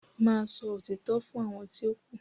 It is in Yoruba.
má sọ òtítọ́ fún àwọn ti o ku.